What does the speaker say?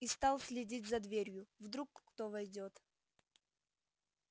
и стал следить за дверью вдруг кто войдёт